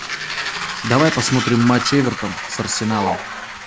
давай посмотрим матч эвертон с арсеналом